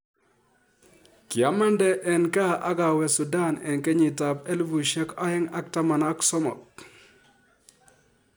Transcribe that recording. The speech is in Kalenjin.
Kiamandee eng kaa agawee sutan eng kenyit ab alefusiek oeng ak taman ak somok